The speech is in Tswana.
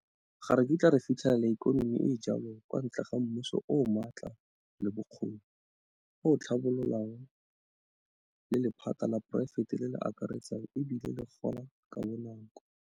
Ga re kitla re fitlhelela ikonomi e e jalo kwa ntle ga mmuso o o maatla le bokgoni, o o tlhabololang, le lephata la poraefete le le akaretsang e bile le gola ka bonako.